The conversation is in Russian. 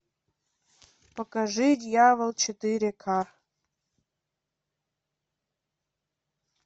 покажи дьявол четыре ка